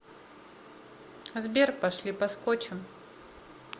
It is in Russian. сбер пошли поскочем